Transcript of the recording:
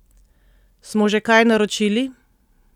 Smo že kaj naročili?